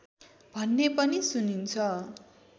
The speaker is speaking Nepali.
भन्ने पनि सुनिन्छ